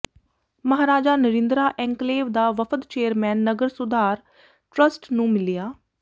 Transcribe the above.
Maharaja Narindra enclave ਦਾ ਵਫ਼ਦ chairman Nagar Sudhar trust ਨੂੰ ਮਿਲਿਆ